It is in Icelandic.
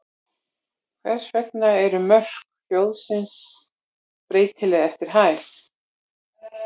Hvers vegna eru mörk hljóðmúrsins breytileg eftir hæð?